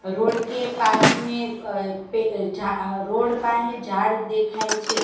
Road પાહે જાડ દેખાય છે.